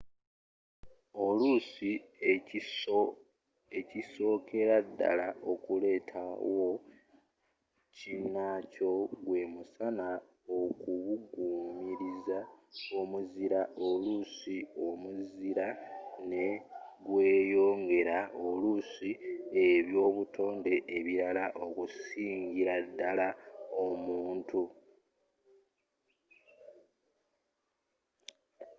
oluusi ekisookera ddala okuleerawo kinnaakyo gwe musana okubugumiriza omuzira oluusi omuzira ne gweyongeera oluusi ebyobutonde ebirara okusingira ddala omuntu